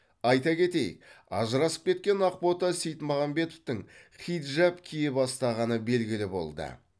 айта кетейік ажырасып кеткен ақбота сейітмағамбетовтің хиджаб кие бастағаны белгілі болды